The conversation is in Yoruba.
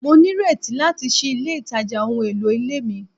Mo nireti lati ṣii ile itaja ohun elo ile mi